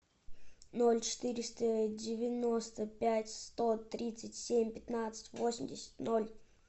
ноль четыреста девяносто пять сто тридцать семь пятнадцать восемьдесят ноль